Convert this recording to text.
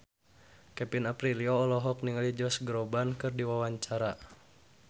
Kevin Aprilio olohok ningali Josh Groban keur diwawancara